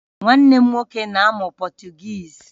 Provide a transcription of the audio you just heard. Nwanne m nwoke na-amụ Potugeez